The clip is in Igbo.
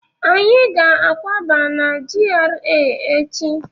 Anyị ga akwaba n'GRA echi